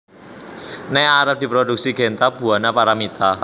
ne arep diproduksi Genta Buana Paramitha